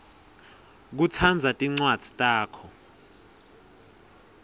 kutsandza tincwadzi takho